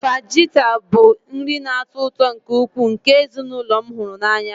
Fajita bụ nri na-atọ ụtọ nke ukwuu nke ezinụlọ m hụrụ n'anya